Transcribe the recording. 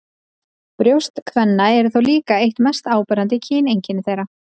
Brjóst kvenna eru þó líka eitt mest áberandi kyneinkenni þeirra.